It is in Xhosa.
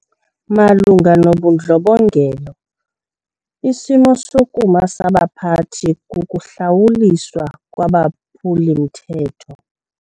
Malunga nobundlobongela isimo sokuma sabaphathi kukuhlawuliswa kwabaphuli-mthetho.